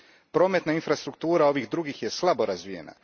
Prometna infrastruktura ovih drugih je slabo razvijena.